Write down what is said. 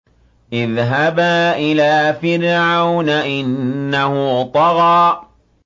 اذْهَبَا إِلَىٰ فِرْعَوْنَ إِنَّهُ طَغَىٰ